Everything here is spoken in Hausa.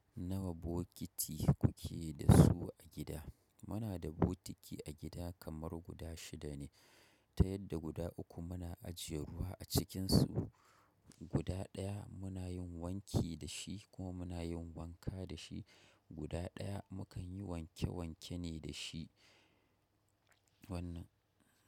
Nawa bokiti kuke da su a gida? Muna da butiki a gida kamar guda shida ne, ta yadda guda uku muna ajiye ruwa a cikinsu. Guda ɗaya muna yin wanki da shi kuma muna yin wanka da shi. Guda ɗaya mu kan yi wanke wanke ne da shi wannan.